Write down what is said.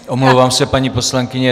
Omlouvám se, paní poslankyně.